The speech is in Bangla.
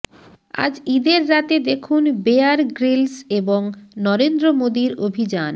আজ ঈদের রাতে দেখুন বেয়ার গ্রিলস এবং নরেন্দ্র মোদির অভিযান